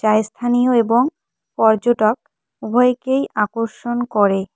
তাই স্থানীয় এবং পর্যটক উভয়কেই আকর্ষণ করে।